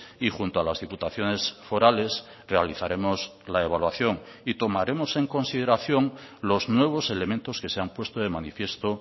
y junto a las diputaciones forales realizaremos la evaluación y tomaremos en consideración los nuevos elementos que se han puesto de manifiesto